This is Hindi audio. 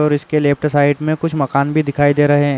और इसके लेफ्ट साइड में कुछ मकान भी दिखाई दे रहे है।